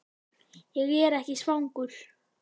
Ég er ekki svangur